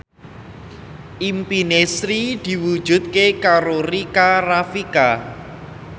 impine Sri diwujudke karo Rika Rafika